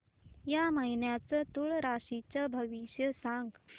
या महिन्याचं तूळ राशीचं भविष्य सांग